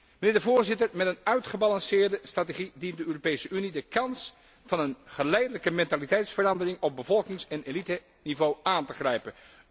Mijnheer de Voorzitter, met een uitgebalanceerde strategie dient de Europese Unie de kans van een geleidelijke mentaliteitsverandering op bevolkings en eliteniveau aan te grijpen.